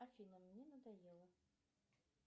афина мне надоело